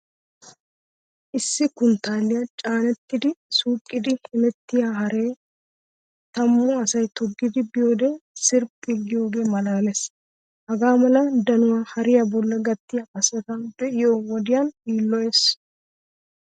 Issi kunttaaliya caanettidi suqiiddi hemettiya haree tammu asay toggidi biyode sirphphi giyogee maalaalees. Hagaa mala danuwa hariya bollan gattiya asata be'iyo wodenne yiilloyees.